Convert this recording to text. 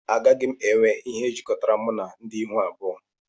Agaghị m enwe ihe jikọrọ m na ndị ihu abụọ